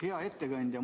Hea ettekandja!